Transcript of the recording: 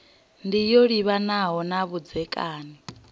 ndi yo livhanaho na vhudzekani